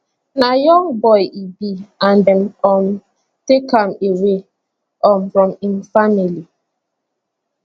na young boy e be and dem um take am away um from im family